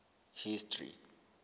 history